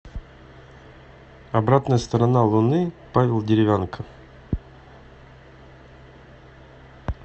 обратная сторона луны павел деревянко